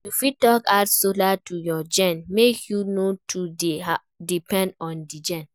You fit add solar to your gen make you no too dey depend on di gen